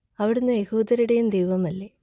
അവിടുന്ന് യഹൂദരുടേയും ദൈവമല്ലേ